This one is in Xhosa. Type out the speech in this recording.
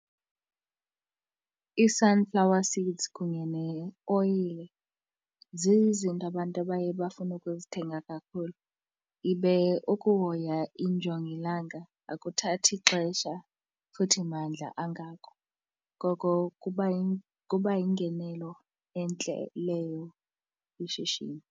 Ii-sunflower seeds kunye neoyile zizinto abantu abaye bafune ukuzithenga kakhulu. Ibe ukuhoya injongilanga akuthathi xesha futhi mandla angako, ngoko kuba yingenelo entle leyo kwishishini.